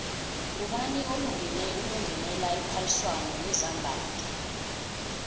ngubani olungele ukungenela iphaliswano lezambatho